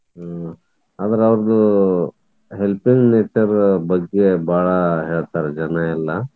ಹ್ಮ್ ಅಂದ್ರ್ ಅವರ್ದ helping nature ಬಗ್ಗೆ ಬಾಳ ಹೇಳ್ತಾರ ಜನ ಎಲ್ಲ.